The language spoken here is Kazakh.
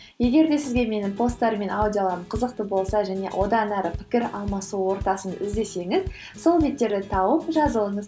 егер де сізге менің посттарым мен аудиоларым қызықты болса және одан ары пікір алмасу ортасын іздесеңіз сол беттерді тауып жазылыңыз